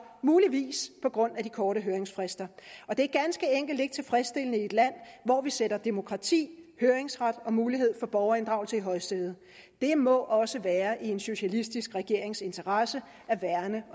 muligvis på grund af de korte høringsfrister og det er ganske enkelt ikke tilfredsstillende i et land hvor vi sætter demokrati høringsret og mulighed for borgerinddragelse i højsædet det må også være i en socialistisk regerings interesse at værne